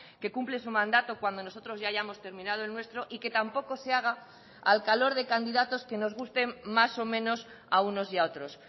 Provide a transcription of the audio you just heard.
que cumple su mandato cuando nosotros ya hayamos terminado el nuestro y que tampoco se haga al calor de candidatos que nos gusten más o menos a unos y a otros